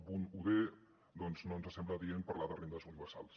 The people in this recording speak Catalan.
d perquè no ens sembla adient parlar de rendes universals